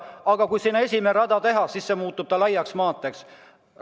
Aga kui sinna esimene rada teha, siis see muutub laiaks maanteeks.